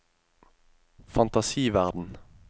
fantasiverden